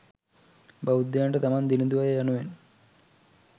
බෞද්ධයන්ට තමන් දිළිඳු අය යනුවෙන්